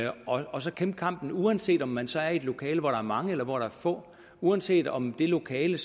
og så kæmpe kampen uanset om man så er i et lokale hvor der er mange eller få uanset om det lokale